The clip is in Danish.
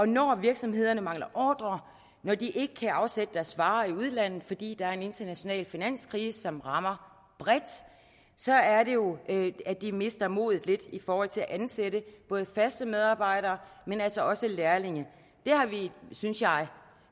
når virksomhederne mangler ordrer når de ikke kan afsætte deres varer i udlandet fordi der er en international finanskrise som rammer bredt så er det jo at de mister modet lidt i forhold til at ansætte faste medarbejdere men altså også lærlinge det har vi synes jeg